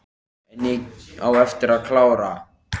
En ég á eftir að klára.